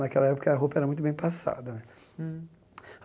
Naquela época, a roupa era muito bem passada né. Hum